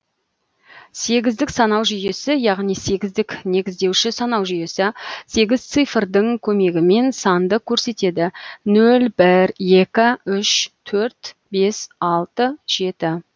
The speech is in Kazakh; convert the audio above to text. сегіздік санау жүйесі яғни сегіздік негіздеуші санау жүйесі сегіз цифрдың көмегімен санды көрсетеді нөл бір екі үш төрт бес алты жеті